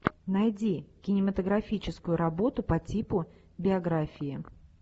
найди кинематографическую работу по типу биографии